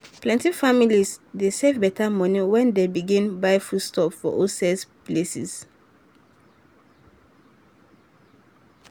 plenty families dey save better money when dem begin buy foodstuff for wholesale places.